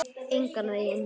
Engan veginn